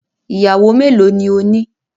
Iyàwọ́ mẹ́lọ̀ ni òní?